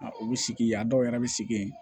A olu sigi yan a dɔw yɛrɛ bɛ sigi yen